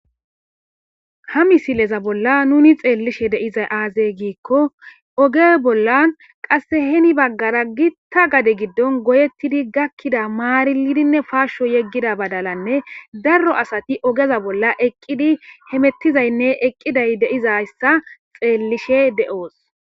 ha misileza bolla nuni xeellishe deizay aazey giikko oge bollan qasse heni baggara gitta gade giddon goyettidi gakkida maarilidinne faasho yeggida badalanne darro asati ogeza bolla eqqidi hemettizaynne eqqiday deizayssa xeellishe de7oos